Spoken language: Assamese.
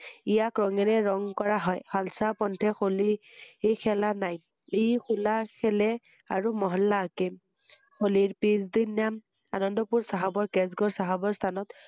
ইয়াক ৰঙৰে ৰং কৰা হয় ৷শালচা পন্থে হলি খেলা নাই ৷ই হোলা খেলে আৰু মহল্লা আকিঁম ৷হোলি পিছদিন আনন্দপুৰ চাহাবৰ কেচগড় চাহাবৰ স্হানত